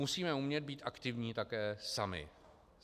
Musíme umět být aktivní také sami.